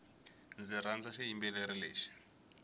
ndzi rhandza xiyimbeleri lexi